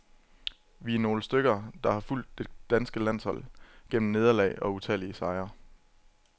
Vi er nogle stykker, der har fulgt det danske landshold gennem nederlag og utallige sejre.